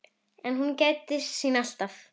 En hún gætir sín alltaf.